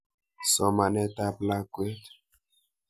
Somanet ap lakwet.